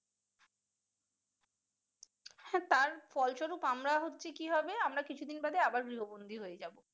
হ্যাঁ তারপর ফলস্বরূপ আমরা হচ্ছে কি হবে আমরা কিছুদিন বাদে আমরা আবার গৃহ বন্দি হয়ে যাবো।